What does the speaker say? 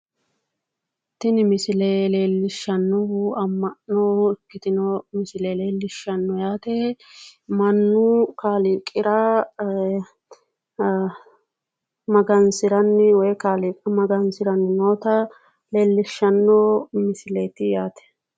Tini misile leellishshannohu amma'no ikkitino misile leellishshanno yaate. mannu kaaliiqira magansiranni woy kaaliiqa magansiranni noota leellishshanno misileeti yaate.